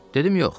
Dedim yox.